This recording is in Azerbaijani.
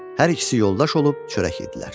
Hər ikisi yoldaş olub çörək yedlər.